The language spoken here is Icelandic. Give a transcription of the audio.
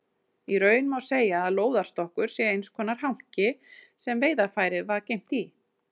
Í raun má segja að lóðarstokkur sé eins konar hanki sem veiðarfærið var geymt í.